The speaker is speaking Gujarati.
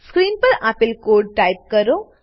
સ્ક્રીન પર આપેલ કોડ ટાઈપ કરો